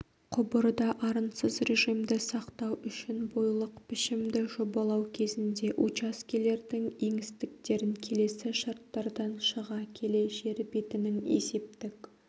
құбырда арынсыз режимді сақтау үшін бойлық пішімді жобалау кезінде учаскелердің еңістіктерін келесі шарттардан шыға келе жер бетінің есептік